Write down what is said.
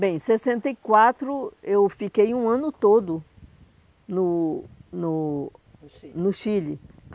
Bem, em sessenta e quatro eu fiquei um ano todo no no (no Chile) no Chile.